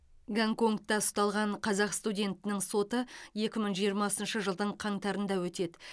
гонконгта ұсталған қазақ студентінің соты екі мың жиырмасыншы жылдың қаңтарында өтеді